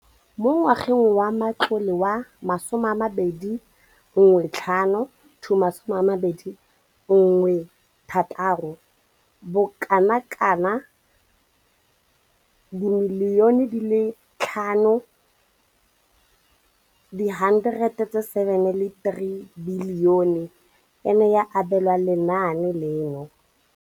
Mo ngwageng wa matlole wa 2015,16, bokanaka R5 703 bilione e ne ya abelwa lenaane leno.